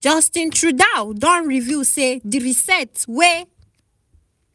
justin trudeau don reveal say di reset wey